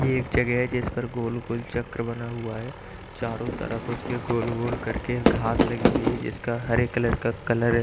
यह एक जगह है जिस पर गोल-गोल चक्र बना हुआ है चारों तरफ उसके गोल-गोल करके घास लगी हुई है जिसका हरे कलर का कलर --